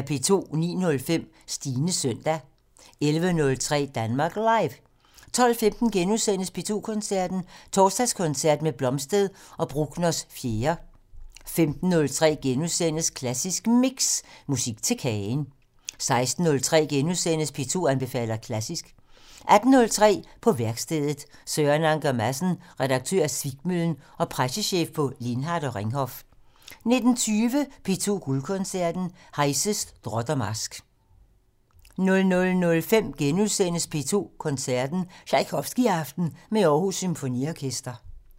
09:05: Stines søndag 11:03: Danmark Live 12:15: P2 Koncerten - Torsdagskoncert med Blomstedt og Bruckners 4. * 15:03: Klassisk Mix - Musik til kagen * 16:03: P2 anbefaler klassisk * 18:03: På værkstedet - Søren Anker Madsen, Redaktør af Svikmøllen og pressechef på Lindhardt og Ringhof 19:20: P2 Guldkoncerten - Heise: Drot og marsk 00:05: P2 Koncerten - Tjajkovskijaften med Aarhus Symfoniorkester *